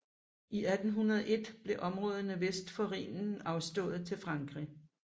I 1801 blev områderne vest for Rhinen afstået til Frankrig